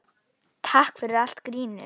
Takk fyrir allt grínið.